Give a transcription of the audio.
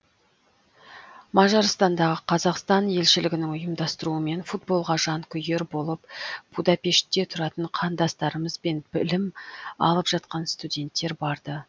мажарстандағы қазақстан елшілігінің ұйымдастыруымен футболға жанкүйер болып будапештте тұратын қандастарымыз бен білім алып жатқан студенттер барды